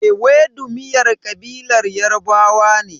Ewedu miyar kabilar Yarbawa ne.